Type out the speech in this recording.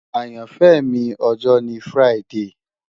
Ayanfẹ mi ọjọ ni Friday